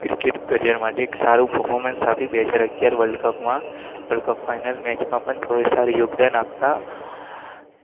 career માટે એક સારું પરફોર્મન્સ